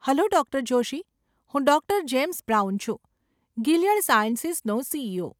Hello doctor Joshi. હું doctor James Brown છું, Gilead સાયન્સીસનો સીઈઓ.